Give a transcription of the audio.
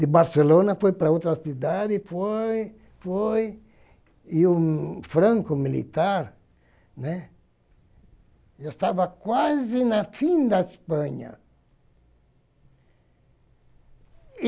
De Barcelona foi para outra cidade, foi, foi, e o Franco militar né já estava quase no fim da Espanha.